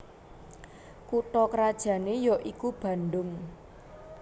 Kutha krajané y aiku Bandhung